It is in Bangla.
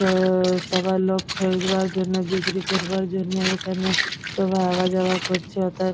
উম সবাই লোক জন্য বিক্রি করবার জন্য এখানে সবাই আওয়া যাওয়া করছে অথায় --